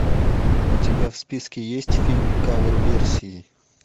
у тебя в списке есть фильм кавер версии